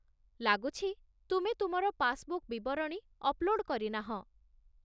ଲାଗୁଛି, ତୁମେ ତୁମର ପାସବୁକ୍ ବିବରଣୀ ଅପଲୋଡ଼୍ କରିନାହଁ।